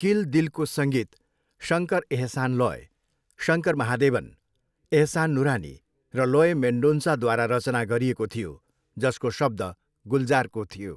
किल दिलको सङ्गीत शङ्कर एहसान लोय, शङ्कर महादेवन, एहसान नुरानी र लोय मेन्डोन्सा, द्वारा रचना गरिएको थियो, जसको शब्द गुलजारको थियो।